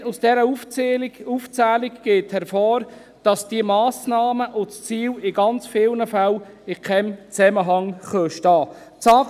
Rein aus dieser Aufzählung geht hervor, dass die Massnahmen und das Ziel in ganz vielen Fällen in keinem Zusammenhang stehen können.